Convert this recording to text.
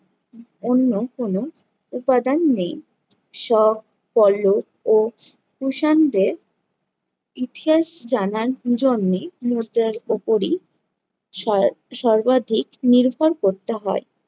অন্য কোনো উপাদান নেই। কল্লব ও কুষাণদের ইতিহাস জানার জন্যি মুদ্রার উপরই সয়া~ সর্বাধিক নির্ভর করতে হয়।